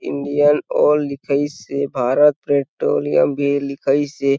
Indian Oil लिखाइस हे Bharat Petroleum भी लिखाइस हे।